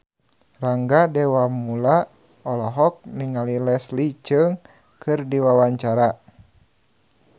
Rangga Dewamoela olohok ningali Leslie Cheung keur diwawancara